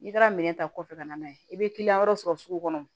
N'i taara minɛn ta kɔfɛ ka na n'a ye i bɛ kiliyan wɛrɛw sɔrɔ sugu kɔnɔ